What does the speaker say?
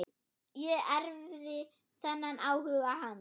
Ég erfði þennan áhuga hans.